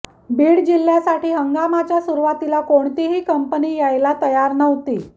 बीड जिल्ह्यासाठी हंगामाच्या सुरुवातीला कोणतीही कंपनी यायला तयार नव्हती